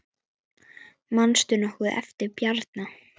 Manstu nokkuð eftir Bjarna?